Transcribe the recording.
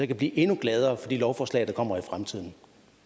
kan blive endnu gladere for de lovforslag der kommer i fremtiden